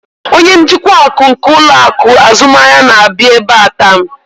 Onye njikwa akụ nke ụlọ akụ azụmahịa na-abịa ebe a taa.